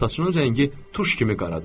Saçının rəngi tuş kimi qaradır.